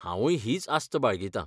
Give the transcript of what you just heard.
हांवूय हीच आस्त बाळगितां.